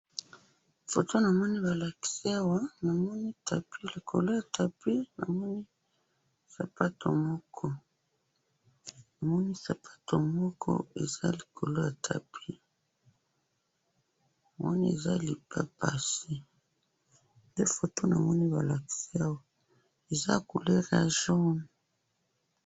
Foto namoni balakisi awa, namoni tapis, likolo ya tapis namoni sapato moko, namoni sapato moko eza likolo ya tapis namoni eza lipapasi, nde foto namoni balakisi awa, eza couleur ya jaune